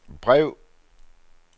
brev